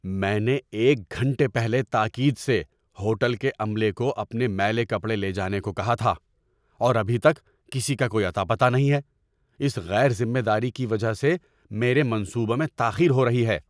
میں نے ایک گھنٹے پہلے تاکید سے ہوٹل کے عملے کو اپنے میلے کپڑے لے جانے کو کہا تھا، اور ابھی تک کسی کا کوئی اتہ پتہ نہیں ہے۔ اس غیر ذمہ داری کی وجہ سے میرے منصوبوں میں تاخیر ہو رہی ہے!